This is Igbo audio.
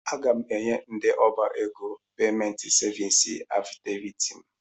Aga m enye ndị ọbá égo peement sevins afịdeviiti m.